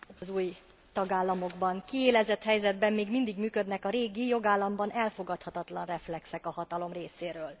Az új tagállamokban kiélezett helyzetben még mindig működnek a régi, jogállamban elfogadhatatlan reflexek a hatalom részéről.